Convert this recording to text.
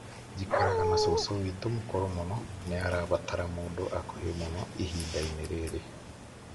njikaraga na cucu witũ mũkũrũ mũno. nĩarabatara mũndũ hakuhĩ mũno ihinda-inĩ rĩrĩ